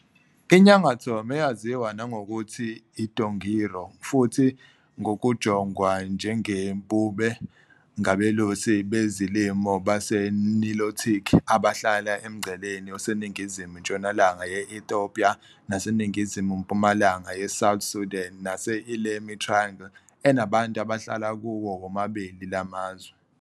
INyangatom eyaziwa nangokuthi iDongiro futhi ngokujongwa njengeBumé ngabelusi bezolimo baseNilotic abahlala emngceleni oseningizimu-ntshonalanga ye- Ethiopia naseningizimu-mpumalanga yeSouth Sudan nase- Ilemi Triangle enabantu abahlala kuwo womabili la mazwe.